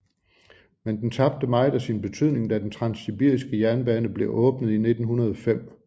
Men den tabte meget af sin betydning da den transsibiriske jernbane blev åbnet i 1905